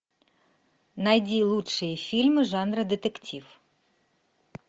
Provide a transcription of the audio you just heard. найди лучшие фильмы жанра детектив